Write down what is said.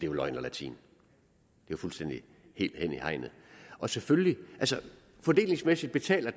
jo løgn og latin og helt hen i hegnet fordelingsmæssigt betaler